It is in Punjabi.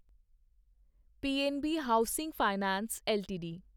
PNB housing finance LTD